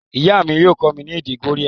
Ìyá mi yio kómí ni èdè Korea